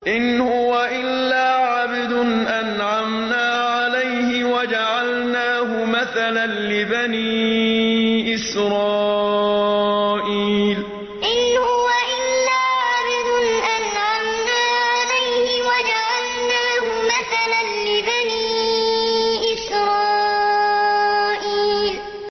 إِنْ هُوَ إِلَّا عَبْدٌ أَنْعَمْنَا عَلَيْهِ وَجَعَلْنَاهُ مَثَلًا لِّبَنِي إِسْرَائِيلَ إِنْ هُوَ إِلَّا عَبْدٌ أَنْعَمْنَا عَلَيْهِ وَجَعَلْنَاهُ مَثَلًا لِّبَنِي إِسْرَائِيلَ